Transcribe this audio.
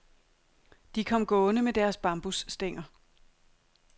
De kom gående med deres bambusstænger.